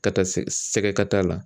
Ka taa se sɛgɛkata la.